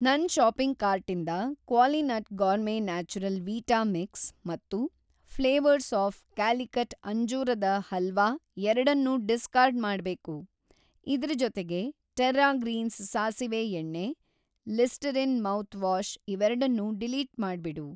ನನ್‌ ಷಾಪಿಂಗ್‌ ಕಾರ್ಟಿಂದ Qualinut Gourmet Natural Vita Mix ಮತ್ತು ಫ಼್ಲೇವರ್ಸ್‌ ಆಫ಼್ ಕ್ಯಾಲಿಕಟ್ ಅಂಜೂರದ ಹಲ್ವಾ ಎರಡನ್ನೂ ಡಿಸ್ಕಾರ್ಡ್‌ ಮಾಡ್ಬೇಕು. ಇದ್ರ ಜೊತೆಗೆ ಟೆರ್ರಾ ಗ್ರೀನ್ಸ್ ಸಾಸಿವೆ‌ ಎಣ್ಣೆ, ಲಿಸ್ಟರಿನ್ ಮೌತ್‌ವಾಷ್ ಇವೆರಡ್ನೂ ಡಿಲೀಟ್‌ ಮಾಡ್ಬಿಡು.